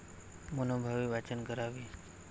मनोभावे वाचन करावे.